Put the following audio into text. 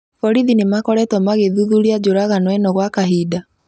Borithi nĩmakoretwo magĩthuthuria njũragano ĩno gwa kahinda